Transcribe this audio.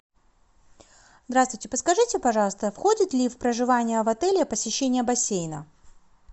здравствуйте подскажите пожалуйста входит ли в проживание в отеле посещение бассейна